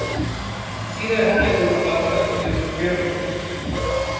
Síðari hálfleikur var öllu fjörlegri.